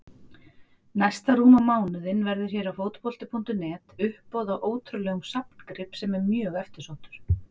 Næsta rúma mánuðinn verður hér á Fótbolti.net uppboð á ótrúlegum safngrip sem er mjög eftirsóttur.